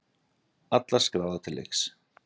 Allar skráðar til leiks